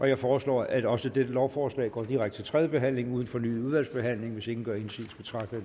jeg foreslår at også dette lovforslag går direkte til tredje behandling uden fornyet udvalgsbehandling hvis ingen gør indsigelse betragter